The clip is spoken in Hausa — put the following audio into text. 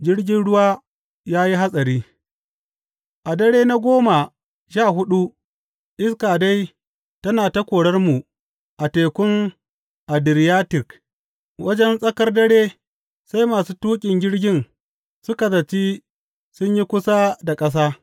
Jirgin ruwa ya yi hatsari A dare na goma sha huɗu iska dai tana ta korarmu a Tekun Adiriyatik, wajen tsakar dare sai masu tuƙin jirgin suka zaci sun yi kusa da ƙasa.